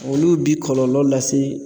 Olu bi kɔlɔlɔ lase